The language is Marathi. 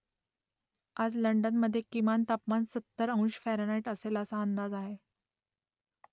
आज लंडनमधे किमान तापमान सत्तर अंश फॅरनहाईट असेल असा अंदाज आहे